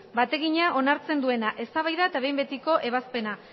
bategina onartzen duena eztabaida eta behin betiko ebazpena